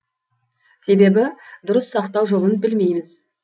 себебі дұрыс сақтау жолын білмейміз